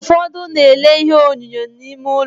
Ufodu na-ele ihe onyonyo n'ime ulo.